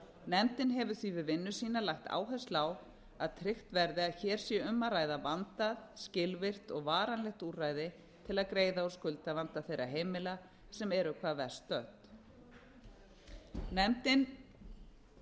nefndin hefur því við vinnu sína lagt áherslu á að tryggt verði að hér sé um að ræða vandað skilvirkt og varanlegt úrræði til að greiða úr skuldavanda þeirra heimila sem eru hvað verst stödd nefndin